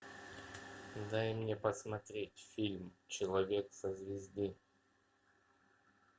дай мне посмотреть фильм человек со звезды